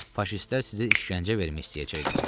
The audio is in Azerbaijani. Faşistlər sizə işgəncə vermək istəyəcəklər.